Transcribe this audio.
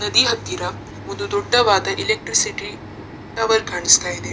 ನದಿ ಹತ್ತಿರ ಒಂದು ದೊಡ್ಡವಾದ ಎಲೆಕ್ಟ್ರಿಸಿಟಿ ಟವರ್ ಕಾಣಿಸ್ತ ಇದೆ .